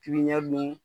Pipiniyɛri dun